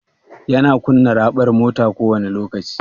Yana kunna raɓar mota kowani lokaci?